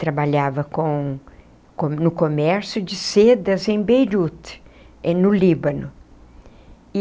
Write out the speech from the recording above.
Trabalhava com com no comércio de sedas em Beirute, é no Líbano.